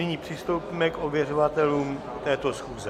Nyní přistoupíme k ověřovatelům této schůze.